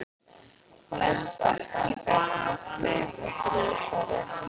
Hann læddist aftan að Bjartmari með brugðnu sverði.